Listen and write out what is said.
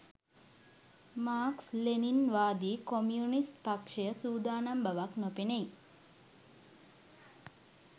Marx ලෙනින්වාදී communist පක්ෂය සූදානම් බවක් නොපෙනෙයි